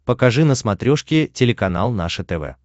покажи на смотрешке телеканал наше тв